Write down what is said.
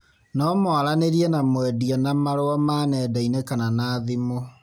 No mwaranĩrie na mwendia na marũa ma nenda-inĩ kana na thimu